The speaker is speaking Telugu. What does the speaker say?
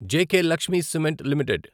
JK Lakshmi cement limited